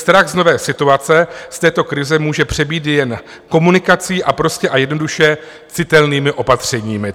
Strach z nové situace, z této krize, můžeme přebít jen komunikací a prostě a jednoduše citelnými opatřeními.